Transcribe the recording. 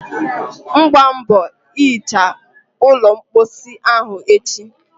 mgbaa mbọ hichaa ụlọ mposi ahụ echi.!